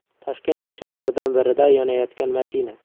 Toshkent ko‘chalaridan birida yonayotgan mashina.